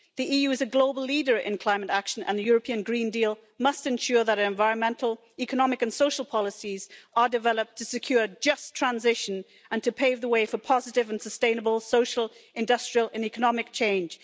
The EU as a global leader in climate action, and the European Green Deal must ensure that environmental, economic and social policies are developed to secure just transition and to pave the way for positive and sustainable social, industrial and economic change.